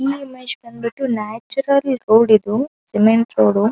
ಈ ಇಮೇಜ್ ಬಂದ್ ಬಿಟ್ಟು ನ್ಯಾಚುರಲ್ ರೋಡ್ ಇದು ಸಿಮೆಂಟ್ ರೋಡು .